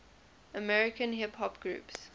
american hip hop groups